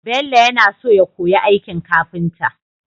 Bello ya naso ya koyi aikin kafinta